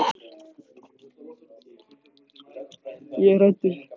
Ég er hræddur.